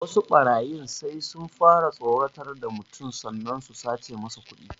Wasu ɓarayin sai sun fara tsoratar da mutum sannan su sace masa kuɗi